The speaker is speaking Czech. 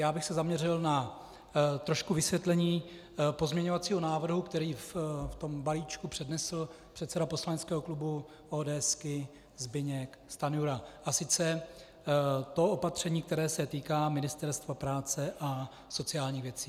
Já bych se zaměřil na trošku vysvětlení pozměňovacího návrhu, který v tom balíčku přednesl předseda poslaneckého klubu ODS Zbyněk Stanjura, a sice to opatření, které se týká Ministerstva práce a sociálních věcí.